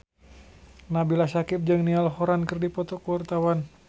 Nabila Syakieb jeung Niall Horran keur dipoto ku wartawan